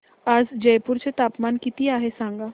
आज जयपूर चे तापमान किती आहे सांगा